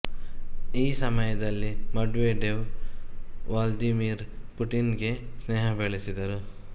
ಈ ಸಮಯದಲ್ಲಿ Medvedev Vladimir Putin ಗೆ ಸ್ನೇಹ ಬೆಳೆಸಿದರು